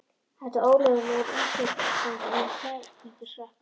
Þetta er ólöglegur innflytjandi með flækingsrakka.